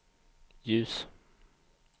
ljus